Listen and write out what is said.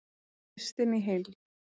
Listinn í heild